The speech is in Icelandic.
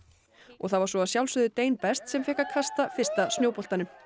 það var svo að sjálfsögðu best sem fékk að kasta fyrsta snjóboltanum